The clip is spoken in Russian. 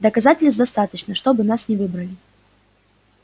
доказательств достаточно чтобы нас не выбрали